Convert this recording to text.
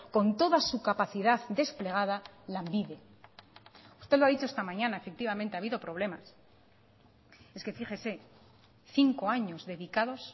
con toda su capacidad desplegada lanbide usted lo ha dicho esta mañana efectivamente ha habido problemas es que fíjese cinco años dedicados